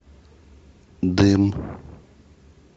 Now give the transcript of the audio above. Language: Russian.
дым